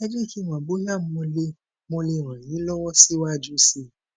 ẹ jé kí n mọ bóyá mo lè mo lè ràn yín lọwọ síwájú sí i